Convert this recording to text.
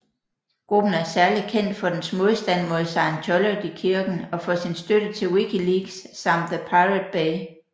Gruppen er særlig kendt for dens modstand mod Scientologykirken og for sin støtte til Wikileaks samt The Pirate Bay